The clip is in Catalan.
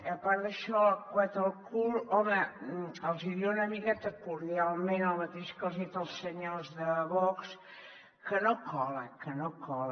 a part d’això del coet al cul home els hi diré una miqueta cordialment el mateix que els he dit als senyors de vox que no cola que no cola